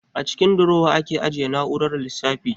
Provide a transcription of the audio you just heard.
A cikin durowa ake ajiye na'urar lissafi